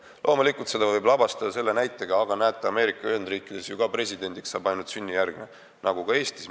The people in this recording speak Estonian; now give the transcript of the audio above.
Loomulikult võib seda lavastada selle näitega, aga näete, Ameerika Ühendriikides saab ju ka ainult sünnijärgne kodanik president olla.